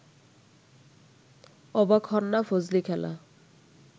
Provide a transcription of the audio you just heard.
অবাক হন না ফজলিখালা